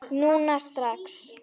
Núna strax?